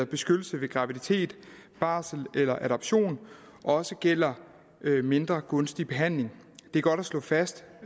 beskyttelsen ved graviditet barsel eller adoption også gælder mindre gunstig behandling det er godt at slå fast